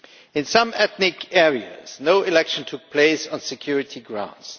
In some ethnic areas no election took place, on security grounds.